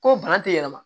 Ko bana te yɛlɛma